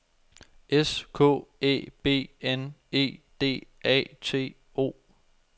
S K Æ B N E D A T O